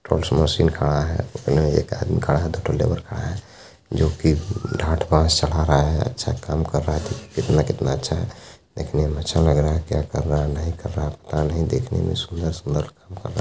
बहुत समय से खड़ा है एक आदमी खड़ा है जो कि गाँठ बांस चला रहा हैअच्छा काम कर रहा है कितना कितना अच्छा है देखने में अच्छा लग रहा है क्या कर रहा है नहीं कर रहा है पता नहीं देखने में सुन्दर सुन्दर हमको ----